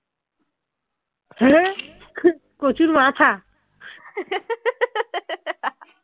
কচুর মাথা